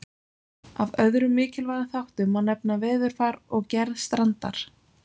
Af öðrum mikilvægum þáttum má nefna veðurfar og gerð strandar.